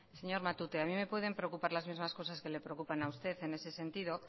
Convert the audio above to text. señor matute a mí me pueden preocupar las mismas cosas que le preocupan a usted en ese sentido